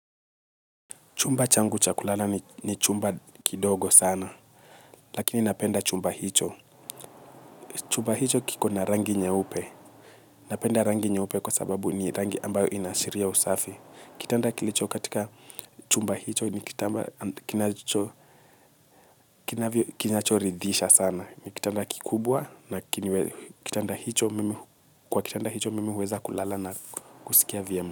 Chumba changu cha kulala ni chumba kidogo sana, lakini napenda chumba hicho. Chumba hicho kiko na rangi nye upe. Napenda rangi nye upe kwa sababu ni rangi ambayo inashiria usafi. Kitanda kilicho katika chumba hicho ni kitamba kinacho ridhisha sana. Kitanda kikubwa na kwa kitanda hicho mimi huweza kulala na kusikia vyema.